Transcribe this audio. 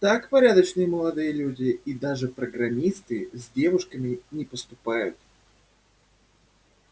так порядочные молодые люди и даже программисты с девушками не поступают